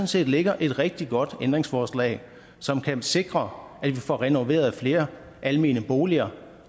set ligger et rigtig godt ændringsforslag som kan sikre at vi får renoveret flere almene boliger